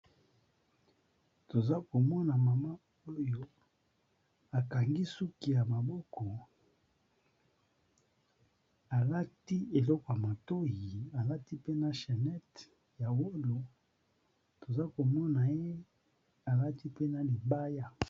Toza komona mama oyo akangi suki ya maboko. Alati eloko ya matohi, alati pe na chanete ya wolo. Toza komona ye alati mpe na libaya.